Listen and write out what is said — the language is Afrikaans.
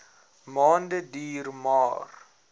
maande duur maar